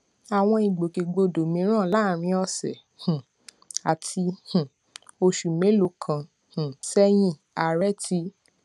àwọn ìgbòkègbodò mìíràn láàárín òsè um àti um oṣù mélòó kan um séyìn ààrẹ ti